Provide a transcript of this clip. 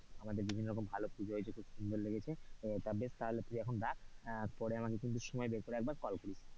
আমাদের বিভিন্ন রকম ভালো পুজো হয়েছে খুব সুন্দর লেগেছে তা বেশ তাহলে তুই রাখ আহ পরে আমাকে কিন্তু সময় বের করে ক্কিন্তু কল করিস,